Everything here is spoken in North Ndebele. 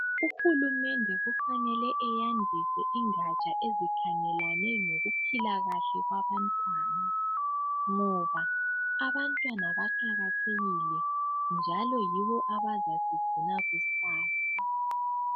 Uhulumende kufanele eyandise ingatsha ezikhangelane lokuphikahle kwabantwana .Ngoba abantwana baqakathekile .Njalo yibo abazasigcina kusasa .